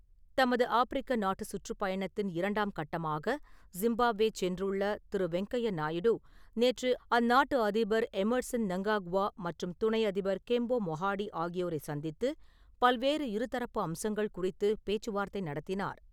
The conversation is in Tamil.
தமது ஆஃப்பிரிக்க நாட்டு சுற்றுப்பயணத்தின் இரண்டாம் கட்டமாக ஸிம்பாப்வே சென்றுள்ள திரு வெங்கையா நாயுடு, நேற்று அந்நாட்டு அதிபர் எம்மர்சன் மங்காக்வா மற்றும் துணை அதிபர் கெம்போ மொஹதி ஆகியோரை சந்தித்து பல்வேறு இருதரப்பு அம்சங்கள் குறித்து பேச்சு வார்த்தை நடத்தினார்.